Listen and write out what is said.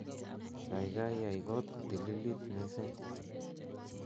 gaigai yai koot kotililit missing